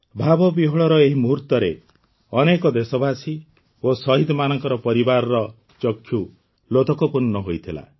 ଭାବବିହ୍ୱଳର ଏହି ମୁହୂର୍ତ୍ତରେ ଅନେକ ଦେଶବାସୀ ଓ ଶହୀଦମାନଙ୍କ ପରିବାରର ଚକ୍ଷୁ ଲୋତକପୂର୍ଣ୍ଣ ହୋଇଥିଲା